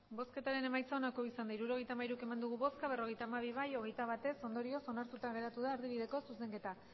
hirurogeita hamairu eman dugu bozka berrogeita hamabi bai hogeita bat ez ondorioz onartuta geratu da erdibideko zuzenketa